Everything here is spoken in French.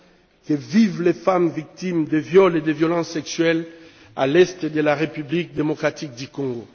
que vivent les femmes victimes de viols et de violences sexuelles dans l'est de la République démocratique du Congo.